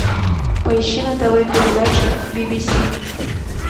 поищи на тв передачу би би си